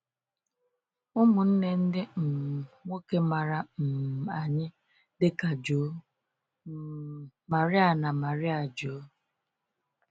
Ụmụnne ndị um nwoke mara um anyị dịka João um Maria na Maria João.